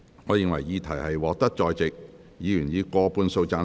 我認為議題獲得在席議員以過半數贊成。